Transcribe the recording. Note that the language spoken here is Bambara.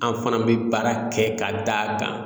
An fana bɛ baara kɛ ka d'a kan